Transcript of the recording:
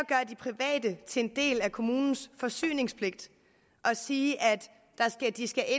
det til en del af kommunens forsyningspligt og sige at de skal